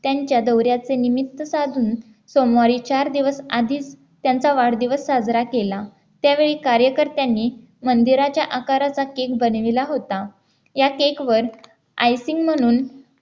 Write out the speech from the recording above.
त्यांच्या दौऱ्याचे निमित्त साधून सोमवारी चार दिवस आधी त्यांचा वाढदिवस साजरा केला त्यावेळी कार्यकर्त्यांनी मंदिराच्या आकाराचा cake बनविला होता या cake वर Icing म्हणून